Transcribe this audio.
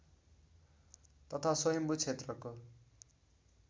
तथा स्वयम्भू क्षेत्रको